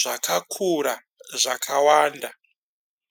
zvakakura zvakawanda.